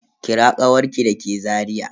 Kira kawarki da ke Zariya?